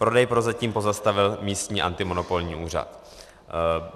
Prodej prozatím pozastavil místní antimonopolní úřad.